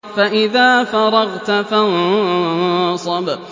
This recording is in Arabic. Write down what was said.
فَإِذَا فَرَغْتَ فَانصَبْ